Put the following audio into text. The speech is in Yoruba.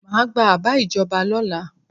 Má gba àbá ìjọba lọ́la.